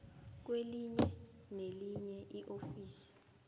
kwelinye nelinye iofisi